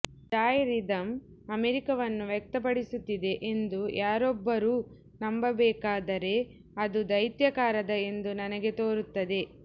jazz rhythm ಅಮೆರಿಕವನ್ನು ವ್ಯಕ್ತಪಡಿಸುತ್ತಿದೆ ಎಂದು ಯಾರೊಬ್ಬರೂ ನಂಬಬೇಕಾದರೆ ಅದು ದೈತ್ಯಾಕಾರದ ಎಂದು ನನಗೆ ತೋರುತ್ತದೆ